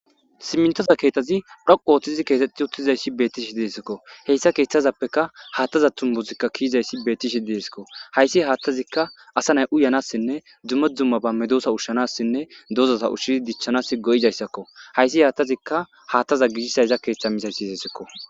Simintoza keethazi dhoqu ooththizi keetetti uttizayssi bettishi deesikko heyssa keeththazappeka haattaza tumbuzikka kiyizayssi beettishi deesikko hayssi haattazikka asa nay u yanassinne dzumme dzumma bamme doosa ushshanassinne dozota ushshii dichchanas go'izayssakko hayssi haattazikka haattaza gishisayza keeththa misayssi seesikko.